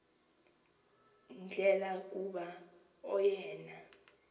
ndlela kuba oyena